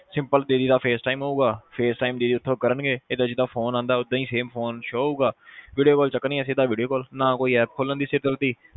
simple ਦੀਦੀ ਦਾ face time ਆਉਗਾ face time ਦੀਦੀ ਇਥੋਂ ਕਰਨਗੇ ਏਦਾਂ ਜਿਦਾ ਫੋਨ ਆਉਦਾ ਓਦਾਂ ਈ same phone show ਹਉਗਾ video call ਦਾ ਕੋਈ ਚੱਕਰ ਨਹੀ ਆ ਸਿੱਧਾ video call ਨਾ ਕੋਈ ਖੋਲ੍ਹਣ ਦੀ ਸਿਰ ਦਰਦੀ ਨਾ ਕੁੱਛ